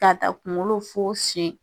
Ka taa kunkolo fo sen.